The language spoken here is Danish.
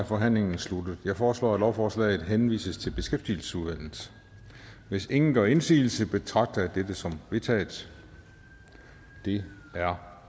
forhandlingen sluttet jeg foreslår at lovforslaget henvises til beskæftigelsesudvalget hvis ingen gør indsigelse betragter jeg dette som vedtaget det er